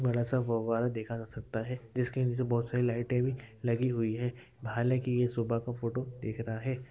बड़ा सा फौवारा देखा जा सकता है जिसके नीचे बहोत सारी लाइटे भी लगी हुई है हालाँकि ये सुबह का फोटो दिख रहा है।